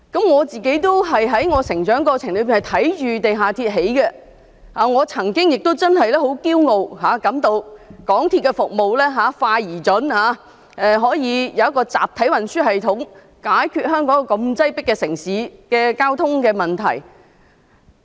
我在成長過程中，也看到地下鐵的建造，我曾經亦感到很驕傲，港鐵公司的服務快而準，香港可以有一個集體運輸系統，解決這個擠迫城市的交通問題。